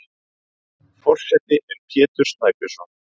Forseti er Pétur Snæbjörnsson.